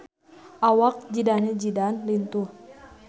Awak Zidane Zidane lintuh